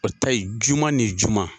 O ta ye juma ni juma.